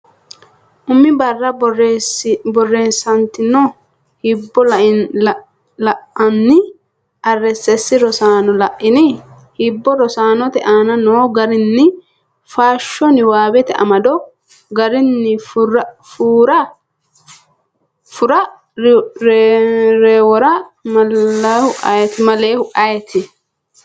Umi barra borreessitinoonni hibbo la’inanni Rss: Rosaano, la’ini? Hibbo? Rosaanote aane noo garinni faasho Niwaawete amado garinni Furra rewoora malihu ayeeti?